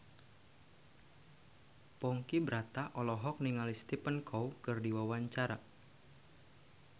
Ponky Brata olohok ningali Stephen Chow keur diwawancara